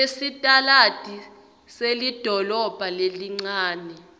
yesitaladi selidolobha lelincane